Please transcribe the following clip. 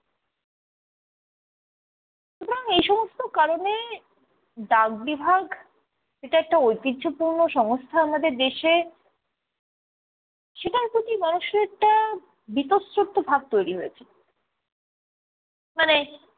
সুতরাং এই সমস্ত কারণে ডাক বিভাগ, এটা একটা ঐতিহ্যপূর্ণ সংস্থা আমাদের দেশে সেটার প্রতি মানুষের একটা বীতশ্রদ্ধ ভাব তৈরী হয়েছে। মানে